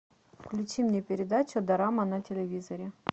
включи мне передачу дорама на телевизоре